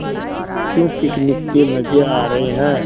क्यों पिकनिक के मज़े आ रहे हैं